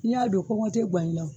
Ni y'a don kɔngɔ te ŋa i la o